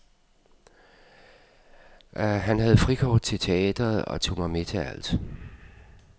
Han havde frikort til teatret og tog mig med til alt.